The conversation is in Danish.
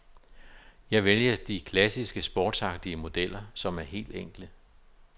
Jeg vælger de klassiske sportsagtige modeller, som er helt enkle.